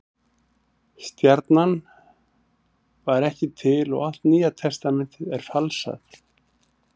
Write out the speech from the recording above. Stjarnan var ekki til og allt Nýja testamentið er falsað.